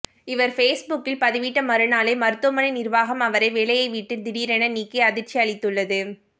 இவர் ஃபேஸ்புக்கில் பதிவிட்ட மறுநாளே மருத்துவமனை நிர்வாகம் அவரை வேலையைவிட்டு திடீரென நீக்கி அதிர்ச்சி அளித்துள்ளது